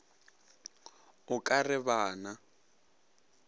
o ka re ba na